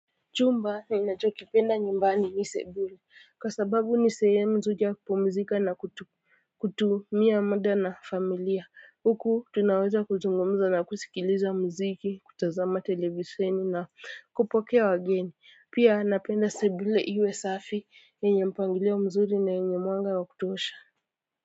Chumba ninachokipenda nyumbani ni sebule kwa sababu ni sehemu nzuri ya kupumzika na kutumia muda na familia huku tunaweza kuzungumza na kusikiliza muziki, kutazama televisheni na kupokea wageni pia napenda sebule iwe safi yenye mpangilio mzuri na yenye mwanga wa kutosha.